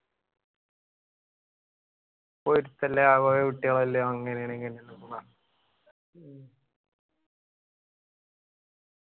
പൊറുത്തുല്ലാത്ത കൊറേ കുട്ടികളല്ലേ അങ്ങനെയാണ് ഇങ്ങനെയാണ് ന്നൊക്കെ പറഞ്ഞിട്ട്